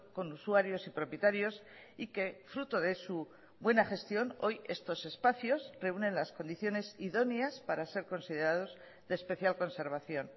con usuarios y propietarios y que fruto de su buena gestión hoy estos espacios reúnen las condiciones idóneas para ser considerados de especial conservación